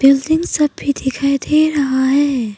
Building सब भी दिखाई दे रहा है।